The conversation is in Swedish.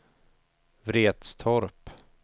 Vretstorp